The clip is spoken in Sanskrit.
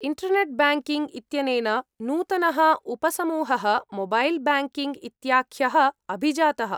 इण्टर्नेट् ब्याङ्किङ्ग् इत्यनेन नूतनः उपसमूहः मोबैल् बैङ्किङ्ग् इत्याख्यः अभिजातः।